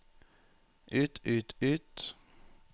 ut ut ut